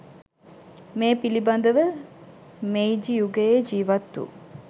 මේ පිළිබඳව මෙයිජි යුගයේ ජීවත් වු